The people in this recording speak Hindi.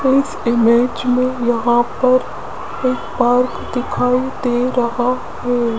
इस इमेज में यहां पर एक पार्क दिखाई दे रहा है।